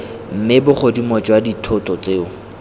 mme bogodimo jwa dithoto tseo